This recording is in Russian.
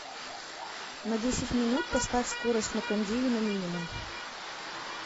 на десять минут поставь скорость на кондее на минимум